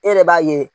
E yɛrɛ b'a ye